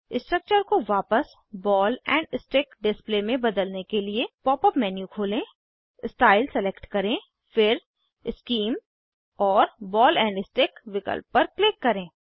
structure को वापस ball and stick display में बदलने के लिए पॉप अप मेन्यू खोलें स्टाइल सलेक्ट करें फिर शीम और बॉल एंड स्टिक विकल्प पर क्लिक करें